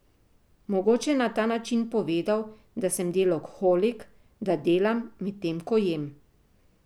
Mogoče je na ta način povedal, da sem deloholik, da delam, medtem ko jem.